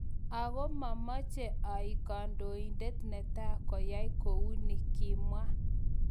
�ago mamache aek kandoindet netaa koyai kouni� , kimwa